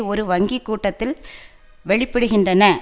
ஒரு வங்கி கூட்டத்தில் வெளிப்படுகின்றன